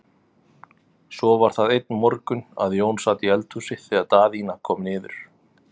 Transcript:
Svo var það einn morgun að Jón sat í eldhúsi þegar Daðína kom niður.